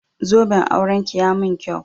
Zoben auranki ya mun kyau.